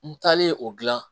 N taalen o dilan